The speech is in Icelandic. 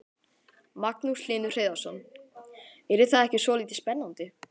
Magnús Hlynur Hreiðarsson: Yrði það ekki svolítið spennandi?